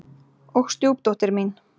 Og stjúpdóttir mín.